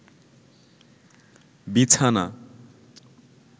বিছানা